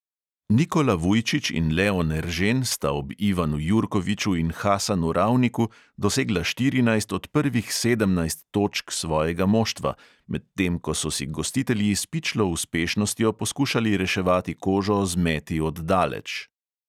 Nikola vujčič in leon eržen sta ob ivanu jurkoviču in hasanu ravniku dosegla štirinajst od prvih sedemnajst točk svojega moštva, medtem ko so si gostitelji s pičlo uspešnostjo poskušali reševati kožo z meti od daleč.